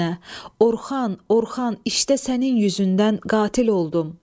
Orxan, Orxan, işdə sənin üzündən qatil oldum.